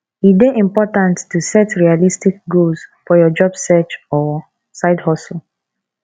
e dey important to set realistic goals for your job search or sidehustle